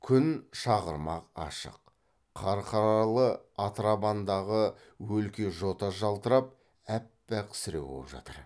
күн шағырмақ ашық қарқаралы атырабандағы өлке жота жалтырап аппақ сіреу боп жатыр